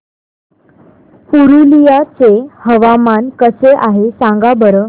पुरुलिया चे हवामान कसे आहे सांगा बरं